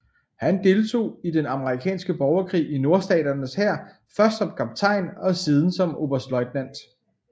Han deltog i den amerikanske borgerkrig i nordstaternes hær først som kaptajn og siden som oberstløjtnant